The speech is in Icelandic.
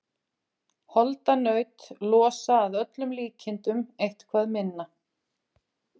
Holdanaut losa að öllum líkindum eitthvað minna.